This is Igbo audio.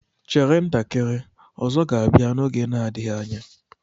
Chere ntakịrị, Ozo ga-abia n'oge na-adịghị anya.